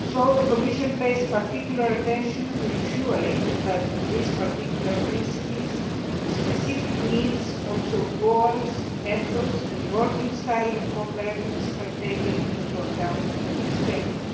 The Commission is therefore paying particular attention to ensuring that these particular principles, specific needs, goals, efforts and the working style of cooperatives are taken into account and respected.